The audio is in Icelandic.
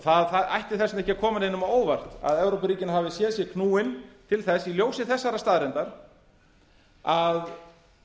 það ætti þess vegna ekki að koma neinum á óvart að evrópuríkin hafi séð sig knúin til þess í ljósi þessarar staðreyndar að